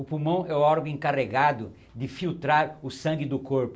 O pulmão é o órgão encarregado de filtrar o sangue do corpo.